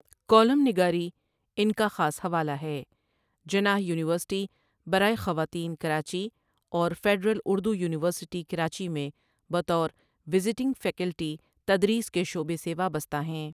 Column نگاری ان کا خاص حوالہ ہے جناح یونیورسٹی برائے خواتین کراچی اور فیڈرل اردو یونیورسٹی کراچی میں بطور وزیٹنگ فیکلٹی تدریس کے شعبہ سے وابستہ ہیں۔۔